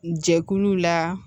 Jɛkuluw la